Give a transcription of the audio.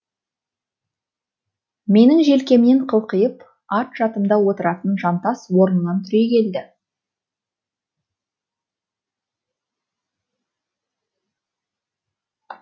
менің желкемнен қылқиып арт жатымда отыратын жантас орнынан түрегелді